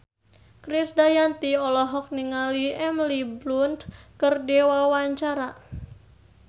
Krisdayanti olohok ningali Emily Blunt keur diwawancara